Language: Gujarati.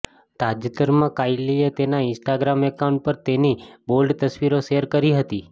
તાજેતરમાં કાઈલીએ તેના ઈન્સ્ટાગ્રામ એકાઉન્ટ પર તેની બોલ્ડ તસવીરો શેર કરી હતી